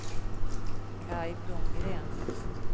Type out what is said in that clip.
Kaj Blomgren